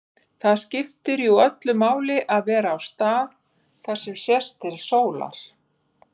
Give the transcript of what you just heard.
Það skiptir jú öllu máli að vera á stað þar sem sést til sólar.